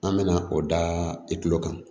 An bɛna o da i tulo kan